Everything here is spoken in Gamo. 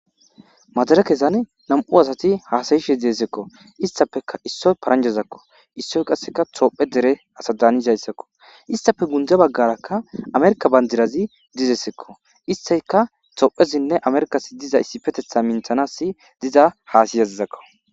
Madirekezan 2 asat hasa'ishe deseko. Istappe issoy paranjazekko , issoy qase tophiye dere ase dan'zeysako. Istappe guye bagaraka tophiya bandiraz deziko istika tophiyasinne amerkas diza issipetetha minthanas diza hasa'izeko.